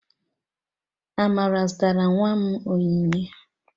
Amara zụtara nwa m onyinye.